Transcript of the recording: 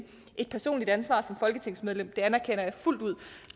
et personligt ansvar som folketingsmedlem det anerkender jeg fuldt ud